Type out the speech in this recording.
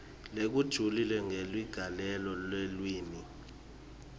lokujulile kweligalelo lelulwimi